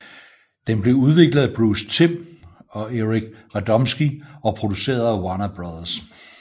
Den blev udviklet af Bruce Timm og Eric Radomski og produceret af Warner Bros